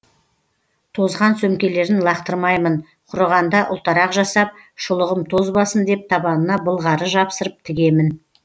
тозған сөмкелерін лақтырмаймын құрығанда ұлтарақ жасап шұлығым тозбасын деп табанына былғары жапсырып тігемін